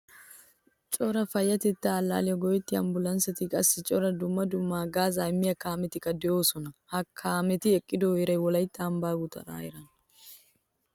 Cora payyatetta allaliyaawu go'ettiyo ambbulansettine qassi cora dumma dumma haggazza immiyaa kaamettika deosona. Ha kaanetti eqqido heeray wolaytta ambban gutaraa heeraana.